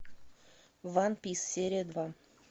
ван пис серия два